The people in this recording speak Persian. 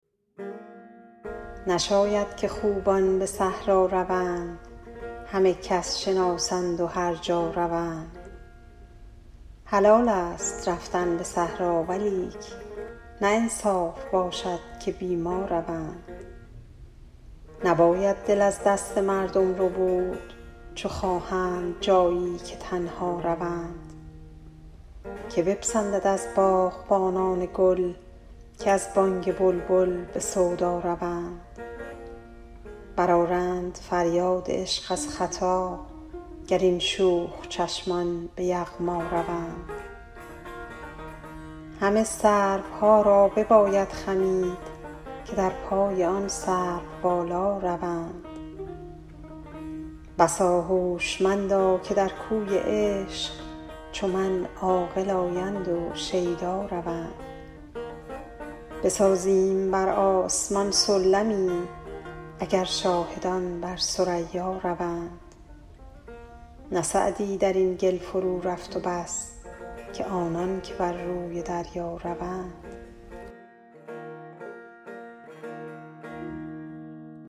نشاید که خوبان به صحرا روند همه کس شناسند و هر جا روند حلالست رفتن به صحرا ولیک نه انصاف باشد که بی ما روند نباید دل از دست مردم ربود چو خواهند جایی که تنها روند که بپسندد از باغبانان گل که از بانگ بلبل به سودا روند برآرند فریاد عشق از ختا گر این شوخ چشمان به یغما روند همه سروها را بباید خمید که در پای آن سروبالا روند بسا هوشمندا که در کوی عشق چو من عاقل آیند و شیدا روند بسازیم بر آسمان سلمی اگر شاهدان بر ثریا روند نه سعدی در این گل فرورفت و بس که آنان که بر روی دریا روند